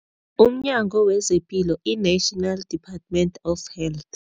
UmNyango wezePilo, i-National Department of Health.